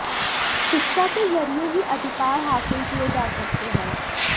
शिक्षा के जरिए ही अधिकार हासिल किए जा सकते हैं